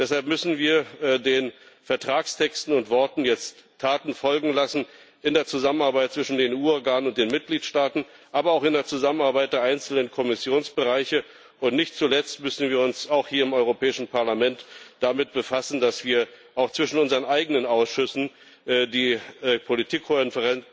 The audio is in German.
Deshalb müssen wir den Vertragstexten und Worten jetzt Taten folgen lassen, in der Zusammenarbeit zwischen den EU Organen und den Mitgliedstaaten, aber auch in der Zusammenarbeit der einzelnen Kommissionsbereiche, und nicht zuletzt müssen wir uns auch hier im Europäischen Parlament damit befassen, dass wir auch zwischen unseren eigenen Ausschüssen die Politikkohärenz